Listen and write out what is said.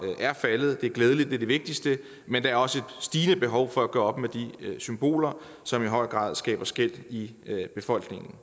er faldet det er glædeligt det er det vigtigste men der er også et stigende behov for at gøre op med de symboler som i høj grad skaber skel i befolkningen